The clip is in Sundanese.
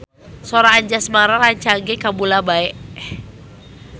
Sora Anjasmara rancage kabula-bale